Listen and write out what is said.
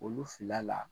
Olu fila la